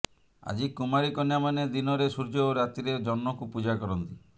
ଆଜି କୁମାରୀ କନ୍ୟାମାନେ ଦିନରେ ସୂର୍ଯ୍ୟ ଓ ରାତିରେ ଜହ୍ନଙ୍କୁ ପୂଜା କରନ୍ତି